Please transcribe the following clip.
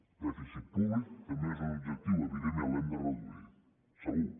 el dèficit públic també és un objectiu evidentment l’hem de reduir segur